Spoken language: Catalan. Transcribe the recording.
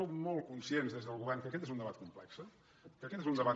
som molt conscients des del govern que aquest és un debat complex que aquest és un debat